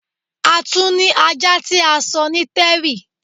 À tuń ni ajá ti à sọ́ ní terry